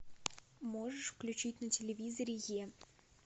можешь включить на телевизоре е